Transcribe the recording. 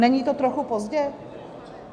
Není to trochu pozdě?